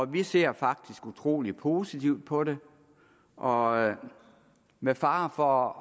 vi ser faktisk utrolig positivt på det og med fare for